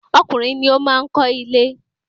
Ọkùnrin ni o maá kọ ile